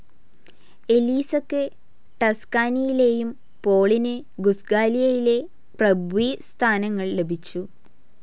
എലീസക്ക് ടസ്കാനിയിലേയും പോളിന് ഗുസ്ഖാലിയയിലെ പ്രഭ്വി സ്ഥാനങ്ങൾ ലഭിച്ചു.